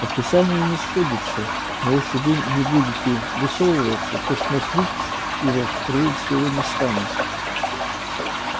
описание не сходится но если вы не будете высовываться то смотреть его скорее всего не станут